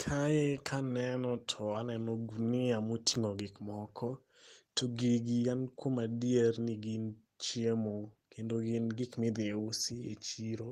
Kae kaneno to aneno gunia moting'o gik moko to gigi an kuom adier ni gin chiemo kendo gin gik ma idhi usi e chiro